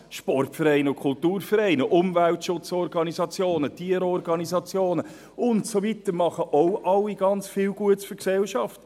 – Sportvereine und Kulturvereine, Umweltorganisationen, Tierschutzorganisationen und so weiter tun auch alle ganz viel Gutes für die Gesellschaft.